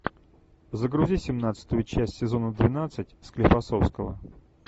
загрузи семнадцатую часть сезона двенадцать склифосовского